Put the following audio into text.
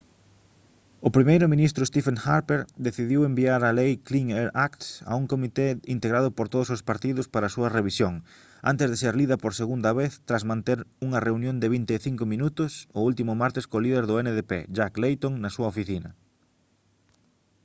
o primeiro ministro stephen harper decidiu enviar a lei clean air act a un comité integrado por todos os partidos para a súa revisión antes de ser lida por segunda vez tras manter unha reunión de vinte e cinco minutos o último martes co líder do ndp jack layton na súa oficina